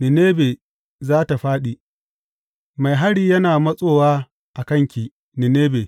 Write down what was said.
Ninebe za tă fāɗi Mai hari yana matsowa a kanki, Ninebe.